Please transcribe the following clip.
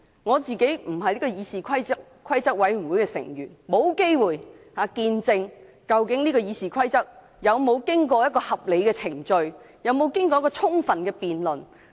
我本身不是議事規則委員會的委員，沒有機會見證究竟《議事規則》的修訂建議有否經過合理的程序及充分的辯論。